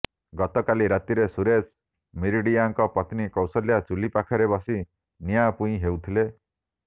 ଗତକାଲି ରାତିରେ ସୁରେଶ ମିରିଡିଆଙ୍କ ପତ୍ନୀ କୌଶଲ୍ୟା ଚୁଲି ପାଖରେ ବସି ନିଆଁ ପୁଇଁ ହେଉଥିଲେ